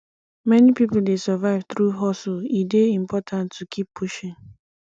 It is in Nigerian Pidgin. many pipo dey survive through hustle e dey important to keep pushing